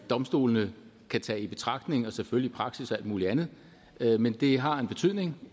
domstolene kan tage i betragtning og selvfølgelig praksis og alt muligt andet men det har en betydning